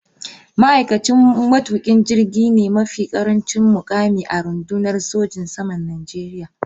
Ma’aikacin matukin jirgi ne mafi karancin mukami a rundunar sojin saman Najeriya.